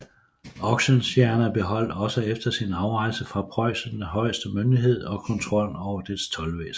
Oxenstierna beholdt også efter sin afrejse fra Preussen den højeste myndighed og kontrollen over dets toldvæsen